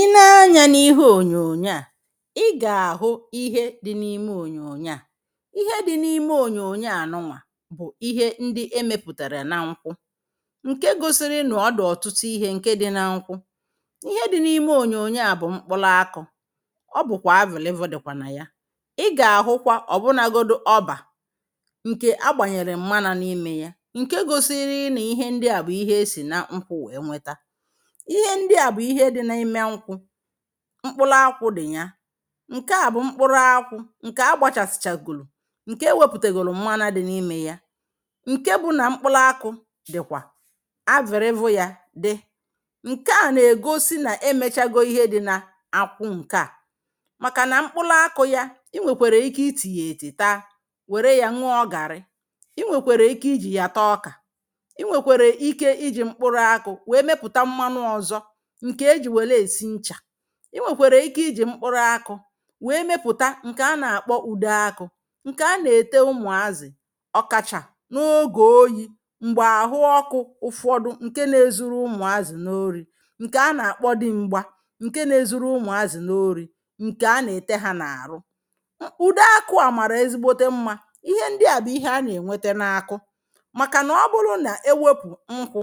Ị nee anyȧ n’ihe ònyònyo à, i gà-àhụ ihe dị n’ime ònyònyo à. Ihe dị n’ime ònyònyo à nụnwà bụ̀ ihe ndị emepùtàrà na nkwụ, ǹke gosiri na ọdụ̀ ọ̀tụtụ ihe ǹke dị na nkwụ. Ihe dị n’ime ònyònyo à bụ̀ mkpụlụ akụ̇, ọ bụ̀kwà avìl evo dị̀kwà nà ya. Ị gà-àhụkwa ọ̀bụ nagodu ọbà ǹkè agbànyèrè mmanu n’imė ya, ǹke gosiri nà ihe ndị à bụ̀ ihe esì na nkwù wee nweta. Ihe ndị a bu ihe dị ime nkwụ, mkpụrụ àkwụ dị ya, nke à bu mkpụrụ àkwụ nke agbachafu chagolo nke enweputagoro mmanụ di n’ime ya. Nke bu na mkpụrụ aku dị kwa, avìl evo ya di. Nke a na egosi na-emechago ihe niile di na-akwụ nke a. Maka na mkpụrụ akụ ya, i nwèkwèrè ike ị tì yà ètì taa, wère yȧ nwa ọ gàrị. I nwèkwèrè ike iji̇ yà taa ọkà, ị nwèkwèrè ike iji̇ mkpụrụ akụ̇ nwèe mepụ̀ta mmanụ ọzọ ǹkè ejì wèle èsi nchà. I nwèkwàrà ike ijì mkpụrụ akụ wèe mepụ̀ta ǹkè a nà-àkpọ ùde akụ̇ ǹkè a nà-ète ụmụ̀azị̀ ọkacha n’ogè oyi̇ m̀gbè àhụ ọkụ̇ ụfọdụ ǹke na-ezuru ụmụ̀azị̀ n’ori ǹkè a nà-àkpọ di m̀gba ǹke na-ezuru ụmụ̀azị̀ n’ori ǹkè a nà-ète ha n’àrụ. ụdọ akụ a màrà ezigbote mmȧ, ihe ndị a bụ̀ ihe a nà-ènwete n’akụ, màkà nà ọ bụrụ nà e wėpụ̀ nkwụ